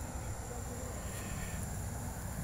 Aitobirita ropiyani.